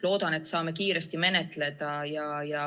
Loodan, et saame seda kiiresti menetleda.